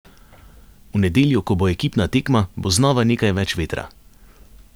V nedeljo, ko bo ekipna tekma, bo znova nekaj več vetra.